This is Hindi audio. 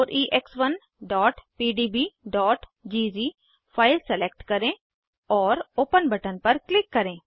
4ex1pdbज़ फाइल सलेक्ट करें और ओपन बटन पर क्लिक करें